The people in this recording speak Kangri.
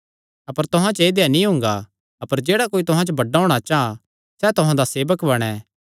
अपर तुहां च ऐदेया नीं हुंगा अपर जेह्ड़ा कोई तुहां च बड्डा होणा चां सैह़ तुहां दा सेवक बणैं